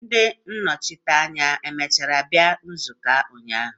Ndi nnochite anya emechara bịa maka nzuko ụnyahụ?